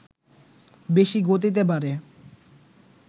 বেশি গতিতে বাড়ে